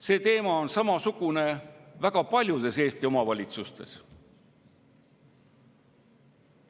See toimub samamoodi väga paljudes Eesti omavalitsustes.